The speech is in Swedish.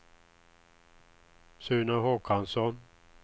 Sune Håkansson